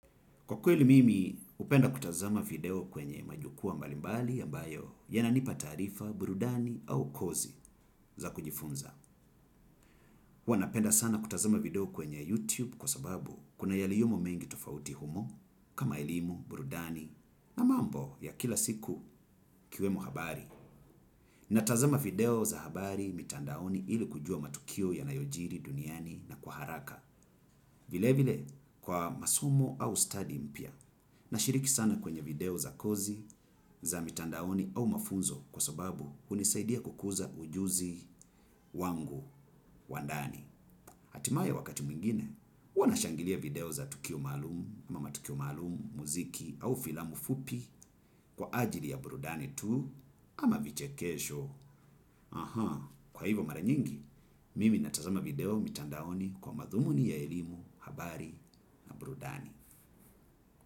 Kwa kweli mimi, upenda kutazama video kwenye majukua mbalimbali ya mbayo yananipa tarifa, burudani au kozi za kujifunza. Huwa napenda sana kutazama video kwenye YouTube kwa sababu kuna yaliomo mengi tofauti humo kama elimu, burudani, na mambo ya kila siku ikiwemo habari. Natazama video za habari mitandaoni ili kujua matukio yanayojiri duniani na kwa haraka. Vile vile kwa masomo au study mpia. Na shiriki sana kwenye video za kozi, za mitandaoni au mafunzo kwa sababu unisaidia kukuza ujuzi wangu, wandani. Hatimaye wakati muingine, huwa na shangilia video za tukio malumu ama matukio malumu, muziki au filamu fupi kwa ajili ya burudani tuu ama vichekesho. Kwa hivo mara nyingi, mimi natasama video mitandaoni kwa madhumuni ya elimu, habari na brudani.